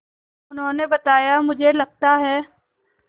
उन्होंने बताया मुझे लगता है